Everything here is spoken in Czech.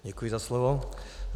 Děkuji za slovo.